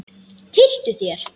Tylltu þér.